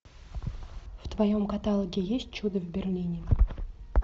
в твоем каталоге есть чудо в берлине